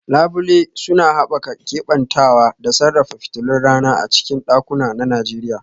Labule suna haɓaka keɓantawa da sarrafa fitilun rana a cikin ɗakuna na Najeriya